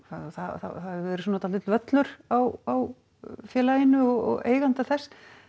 það hefur verið svolítill völlur á félaginu og eiganda þess